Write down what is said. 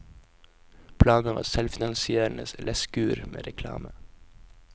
Planen var selvfinansierende leskur med reklame.